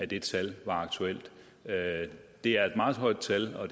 det tal var aktuelt det er et meget højt tal og